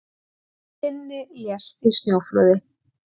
Finni lést í snjóflóði